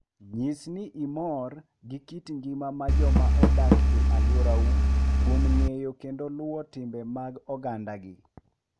Nyis ni imor gi kit ngima mar joma odak e alworau kuom ng'eyo kendo luwo timbe mag ogandagi.